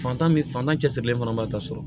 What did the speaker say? Fantan min fantan cɛsirilen fana b'a ta sɔrɔ